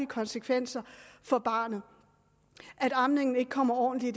konsekvenser for barnet at amningen ikke kommer ordentlig